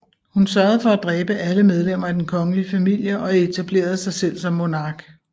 Hun sørgede for at dræbe alle medlemmer af den kongelige familie og etablerede sig selv som monark